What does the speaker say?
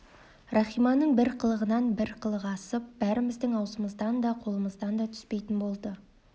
рахиманың бір қылығынан бір қылығы асып бәріміздің аузымыздан да қолымыздан да түспейтін болды